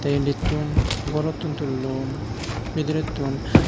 te indi tun gorottun tun tullon bidirettun.